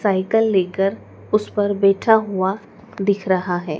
Cycle लेकर उस पर बैठा हुआ दिख रहा है।